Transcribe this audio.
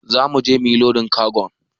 Zamu je mu yi lodin kagon.